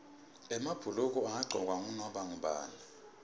emabhuluko angagcokwa ngunoma ngubani